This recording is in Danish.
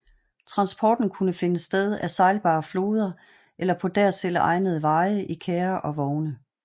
Transporten kunne finde sted ad sejlbare floder eller på dertil egnede veje i kærrer og vogne